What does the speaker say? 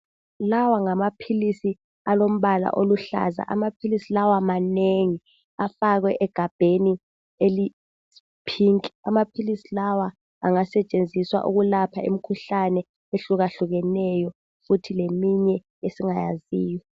Lawa ngamaphilisi alombala oluhlaza, amaphilisi lawa manengi afakwe egabheni eliyiphinki. Amaphilisi lawa angasetshenziswa ukulapha imikhuhlane ehlukahlukeneyo kuthi leminye esingayaziyo.